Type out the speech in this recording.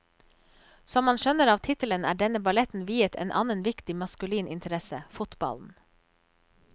Som man skjønner av tittelen er denne balletten viet en annen viktig maskulin interesse, fotballen.